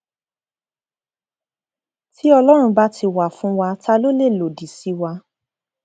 tí ọlọrun bá ti wà fún wa ta ló lè lòdì sí wa